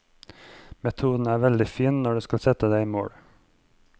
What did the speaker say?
Metoden er veldig fin når du skal sette deg mål.